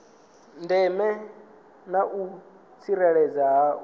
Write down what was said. ndeme na u tsireledzea ha